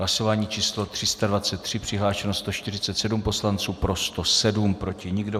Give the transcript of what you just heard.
Hlasování číslo 323, přihlášeno 147 poslanců, pro 107, proti nikdo.